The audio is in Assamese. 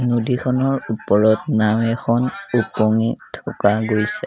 নদীখনৰ ওপৰত নাও এখন ওপঙি থকা গৈছে।